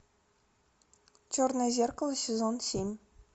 черное зеркало сезон семь